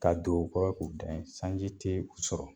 K'a don o kɔrɔ k'u dan in sanji ti u sɔrɔ